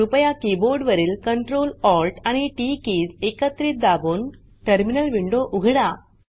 कृपया कीबोर्ड वरील Ctrl Alt आणि टीटी कीज एकत्रित दाबून टर्मिनल विंडो उघडा